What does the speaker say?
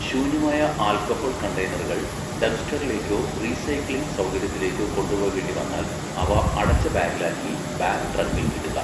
ശൂന്യമായ ആൽക്കഹോൾ കണ്ടെയ്നറുകൾ ഡംപ്സ്റ്ററിലേക്കോ റീസൈക്ലിംഗ് സൗകര്യത്തിലേക്കോ കൊണ്ടുപോകേണ്ടിവന്നാൽ, അവ അടച്ച ബാഗിലാക്കി ബാഗ് ട്രങ്കിൽ ഇടുക.